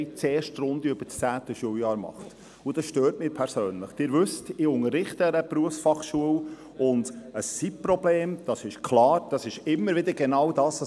Ich spreche mich klar für die Bildung aus, aber auch für die Gemeinde.